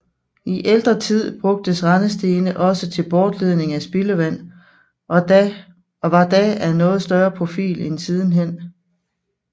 I ældre tid brugtes rendestene også til bortledning af spildevand og var da af noget større profil end siden hen